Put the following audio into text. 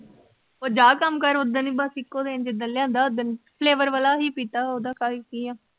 ਉਹ ਜਾ ਕੰਮ ਕਰ ਉਸ ਦਿਨ ਬਸ ਇੱਕੋ ਦਿਨ ਜਿਸ ਦਿਨ ਲਿਆਂਦਾ ਉਸ ਦਿਨ ਅਸੀਂ flavor ਵਾਲਾ ਪੀਤਾ ਓਹਦਾ ਕਿ ਆ